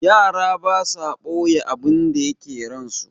Yara basa ɓoye abinda yake ransu.